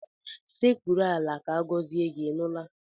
Sekpuru ala ka agọzie gị, ị nụla?